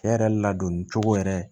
Cɛ yɛrɛ ladonni cogo yɛrɛ